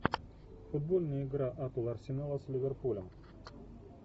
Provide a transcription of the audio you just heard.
футбольная игра апл арсенала с ливерпулем